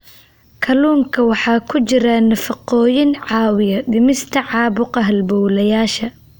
Kalluunka waxaa ku jira nafaqooyin caawiya dhimista caabuqa halbowlayaasha.